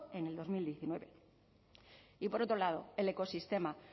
en dos mil diecinueve y por otro lado el ecosistema